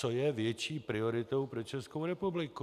Co je větší prioritou pro Českou republiku?